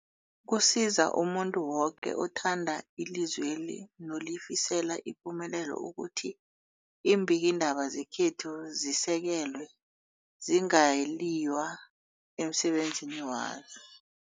Kusiza umuntu woke othanda ilizweli nolifisela ipumelelo ukuthi iimbikiindaba zekhethu zisekelwe, zingaliywa emsebenzini wazo.